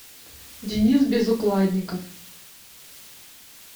денис безукладников